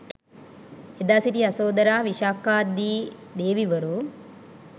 එදා සිටි යසෝදරා, විශාඛා දී දේවිවරු